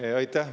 Aitäh!